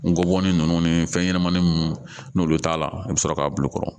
Ngɔbɔnin ninnu ni fɛn ɲɛnɛmani nunnu n'olu t'a la i bi sɔrɔ k'a bulu kɔrɔ